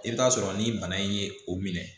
I bɛ t'a sɔrɔ ni bana in ye o minɛ